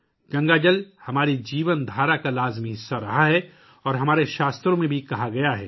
گنگا کا پانی ہمارے طرز زندگی کا ایک لازمی حصہ رہا ہے اور یہ ہمارے شاستروں میں بھی کہا گیا ہے